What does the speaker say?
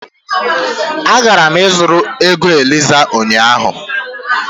Agara m ịzụrụ ego Eliza ụnyahụ